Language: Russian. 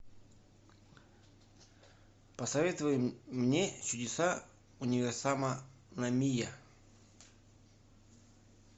посоветуй мне чудеса универсама намия